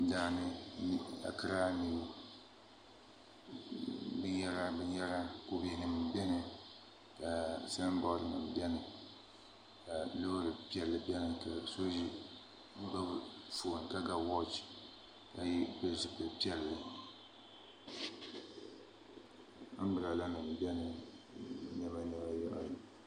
Daani ankiraa niw binyɛra binyɛra kubɛ nim biɛni ka sanbood nim biɛni ka Loori piɛlli biɛni ka so gbubi foon ka ga wooch ka pili zipili piɛlli anbirala nim biɛni